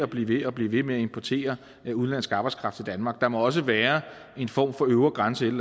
blive ved og blive ved med at importere udenlandsk arbejdskraft til danmark der må også være en form for øvre grænse et